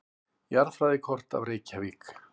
Jarðfræðikort af Reykjavík.